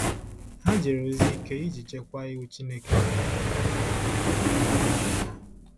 Ha jere ozi ike iji chekwaa Iwu Chineke nyere na omenala ha.